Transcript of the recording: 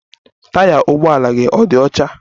Taya ụgbọ ala gị ọ̀ dị ọcha?